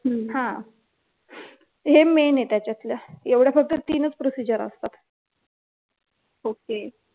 हे main आहे त्याच्यातलं एवढ्या फक्त तीनच procedure असतात